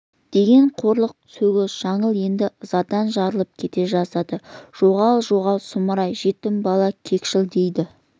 деген қорлық сөгіс жаңыл енді ызадан жарылып кете жаздады жоғал жоғал сұмырай жетім бала кекшіл дейді